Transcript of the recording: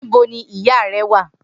Nibo ni iya rẹ wa?